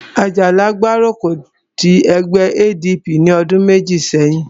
Àjàlá gbárùkù ti ẹgbẹ́ ADP ní ọdún méjì sẹ́yìn